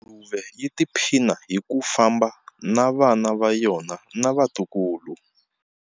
Nguluve yi tiphina hi ku famba na vana va yona na vatukulu.